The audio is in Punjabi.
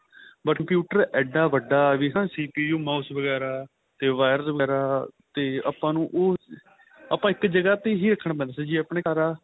but computer ਇੱਡਾ ਵੱਡਾ ਵੀ ਨਾ CPU mouse ਵਗੈਰਾ ਤੇ wires ਵਗੈਰਾ ਤੇ ਆਪਾਂ ਨੂੰ ਉਹ ਆਪਾਂ ਇੱਕ ਜਗ੍ਹਾ ਤੇ ਹੀ ਰਖਣ ਪੈਂਦਾ ਜੇ ਆਪਣੇ ਘਰ ਆ